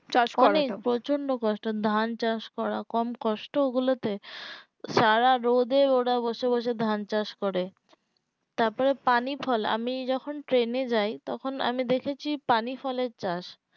চাষ করাটা মানে প্রচুন্ড কষ্ট ধান চাষ করা কম কষ্ট ওগুলোতে সারা রোদে ওরা বসে বসে ধান চাষ করে তার পরে পানি ফল আমি যখন ট্রেনে যায় তখন আমি দেখেছি পানি ফলের চাষ